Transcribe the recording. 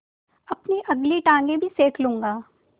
अपनी अगली टाँगें भी सेक लूँगा